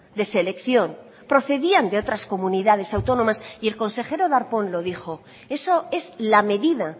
de selección procedían de otras comunidades autónomas y el consejero darpón lo dijo eso es la medida